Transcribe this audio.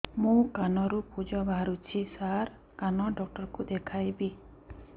ମୋ କାନରୁ ପୁଜ ବାହାରୁଛି ସାର କାନ ଡକ୍ଟର କୁ ଦେଖାଇବି